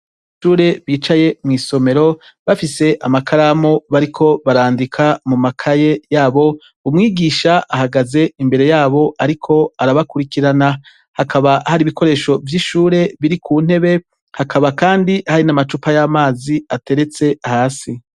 Abanyeshure bicaye mw'isomero, bafise amakaramu bariko barandika mu makaye yabo, umwigisha ahagaze imbere yabo ariko arabakurikirana. Hakaba hari ibikoresho vy'ishure biri ku ntebe, hakaba kandi hari n'amacupa y'amazi ateretse hasi.